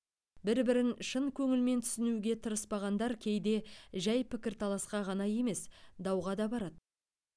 бір бірін шын көңілмен түсінуге тырыспағандар кейде жай пікірталасқа ғана емес дауға да барады